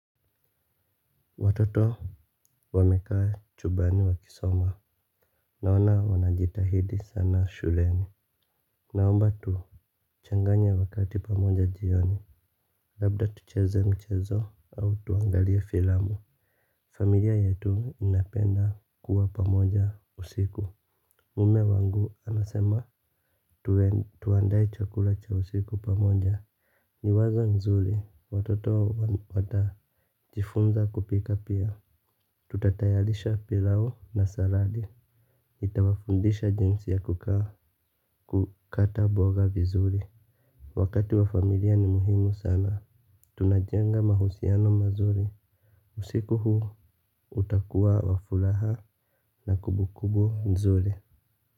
Watoto wamekaa chumbani wakisoma, naona wanajitahidi sana shuleni. Naomba tuchanganye wakati pamoja jioni, labda tucheze mchezo au tuangalie filamu. Familia yetu inapenda kuwa pamoja usiku. Mume wangu anasema tuandae chakula cha usiku pamoja. Ni wazo nzuri, watoto watajifunza kupika pia. Tutatayarisha pilau na saradi nitawafundisha jinsi ya kukata mboga vizuri. Wakati wa familia ni muhimu sana. Tunajenga mahusiano mazuri. Usiku huu utakuwa wa furaha na kumbukumbu mzuri.